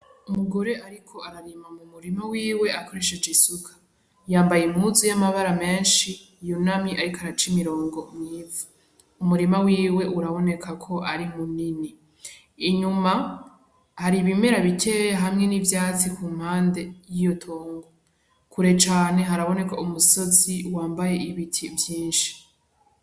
Umugore ariko ararima mu murima wiwe akoresheje isuka. Yambaye impuzu y’amabara menshi yunamye ariko araca imirongo mwiza umurima wiwe biraboneka yuko ari munini , inyuma hari ibimera bikeya hamwe n’ivyatsi ku mpande yiyo tongo, kure cane haraboneka umusozi wanbaye ibiti vyinshi .